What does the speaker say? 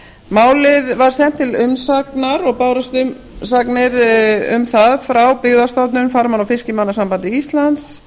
málið var sent út til umsagnar og bárust umsagnir um það frá byggðastofnun farmanna og fiskimannasambandi íslands